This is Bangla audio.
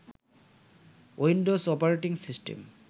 Windows operating system